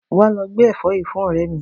Wàá lọ gbé ẹ̀fọ́ yìí fún òré mi!